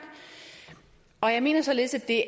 og jeg mener således at det